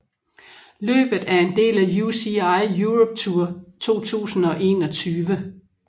Løbet er en del af UCI Europe Tour 2021